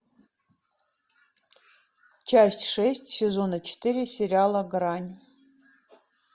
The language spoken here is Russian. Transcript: часть шесть сезона четыре сериала грань